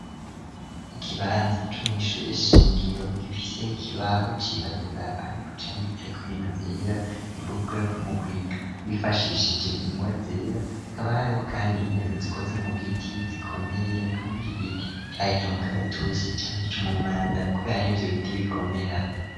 ikibanza co mu ishure shingiro gifise ikibaho cirabura ariko canditseko ibintu vyera, ni ukuvuga mu kwiga bifashishije ingwa zera, hakaba hariho kandi intebe zikoze mu giti zikomeye ni kuvuga igiti caba icumukaratusi canke icumumanda kubera nivyo biti bikomera.